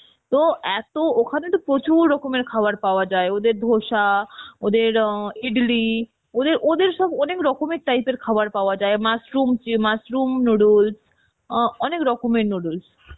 তো এত ওখানে তো প্রচুর রকমের খাবার পাওয়া যায় ওদের ধোসা ওদের অ্যাঁ ইডলি ওদের ওদের সব অনেক রকমের type এর খাবার পাওয়া যায় mushroom, য~ mushroom noodles অ্যাঁ অনেক রকমের noodles